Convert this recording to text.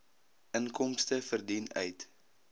inkomste verdien uit